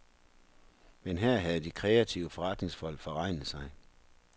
Men her havde de kreative forretningsfolk forregnet sig.